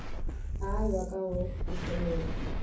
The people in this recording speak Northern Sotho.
ao a ka go fihlelelwa